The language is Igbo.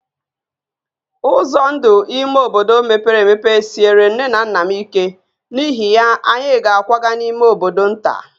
Ụzọ ndụ ime obodo mepere emepe siere nné na nnà m ike, n’ihi ya, anyị ga-akwaga n’ime bodo nta